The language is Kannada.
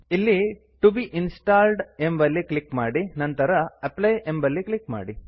ಇಲ್ಲಿ ಟಿಒ ಬೆ ಇನ್ಸ್ಟಾಲ್ಡ್ ಎಂಬಲ್ಲಿ ಕ್ಲಿಕ್ ಮಾಡಿ ನಂತರ ಅಪ್ಲೈ ಮೇಲೆ ಕ್ಲಿಕ್ ಮಾಡಿ